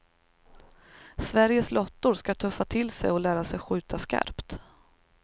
Sveriges lottor skall tuffa till sig och lära sig skjuta skarpt.